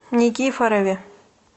никифорове